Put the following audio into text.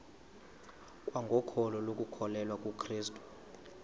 kwangokholo lokukholwa kukrestu